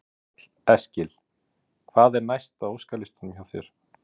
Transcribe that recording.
Karl Eskil: Hvað er næst á óskalistanum hjá þér?